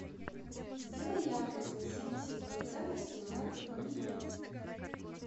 сделай яркость на семьдесят процентов в семнадцать ноль ноль